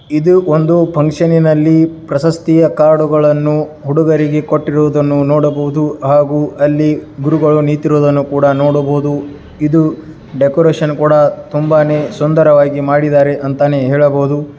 ಇದು ಒಂದು ಫಂಕ್ಷನ್ ನಲ್ಲಿ ಪ್ರಶಸ್ತಿಯ ಕಾರ್ಡ್ ಗಳನ್ನು ಹುಡುಗರಿಗೆ ಕೊಟ್ಟಿರುವುದನ್ನು ನೋಡಬಹುದು ಹಾಗೂ ಅಲ್ಲಿ ಗುರುಗಳು ನಿಂತಿರುವುದನ್ನು ಕೂಡ ನೋಡಬಹುದು. ಇದು ಡೆಕೋರೇಷನ್ ಕೂಡ ತುಂಬಾನೇ ಸುಂದರವಾಗಿ ಮಾಡಿದ್ದಾರೆ ಅಂತಾನೆ ಹೇಳಬಹುದು.